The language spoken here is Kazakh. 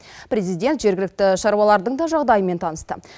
президент жергілікті шаруалардың да жағдайымен танысты